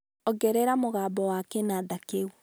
ongerera mũgambo wa kĩnanda kĩu.